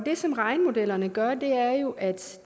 det som regnemodellerne gør er at